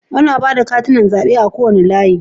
Ana ba da katunan zabe a kowane layi.